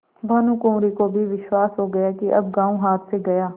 भानुकुँवरि को भी विश्वास हो गया कि अब गॉँव हाथ से गया